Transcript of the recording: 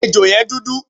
Ejò yẹn dúdú.